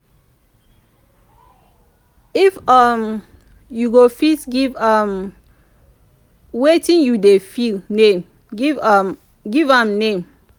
if um yu go fit giv um wetin yu dey feel name giv um give am name